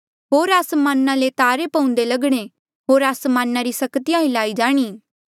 होर आसमाना ले तारे पऊंदे लगणे होर आसमाना री सक्तिया हिल्लाई जाणी